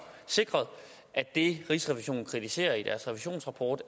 sikret at det rigsrevisionen kritiserede i deres revisionsrapport